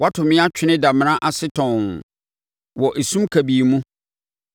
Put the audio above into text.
Woato me atwene damena ase tɔnn, wɔ esum kabii mu.